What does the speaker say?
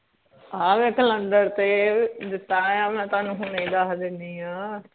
ਆਹ ਵੇਖ ਕਲੈਂਡਰ ਤੇ ਦਿੱਤਾ ਹੋਇਆ ਆ ਮੈ ਤੁਹਾਨੂੰ ਹੁਣੇ ਈ ਦਹ ਦਿੰਨੀ ਆ